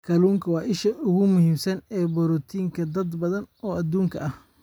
Kalluunku waa isha ugu muhiimsan ee borotiinka dad badan oo adduunka ah.